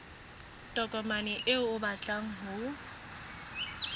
tokomane eo o batlang ho